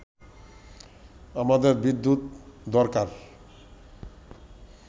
“আমাদের বিদ্যুৎ দরকার